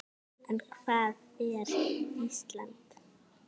En hvað er Ísland?